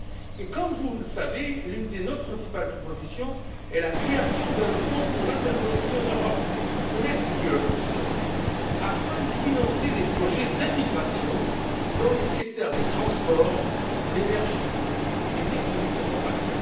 Et comme vous le savez, l'une de nos principales propositions est la création d'un Fonds pour l'interconnexion en Europe permettent de financer des projets d'intégration dans les secteurs des transports, de l'énergie et des technologies de l'information.